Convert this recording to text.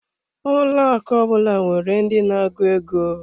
Ụlọ akụ ọ bụla nwere ndi na-agụ ego.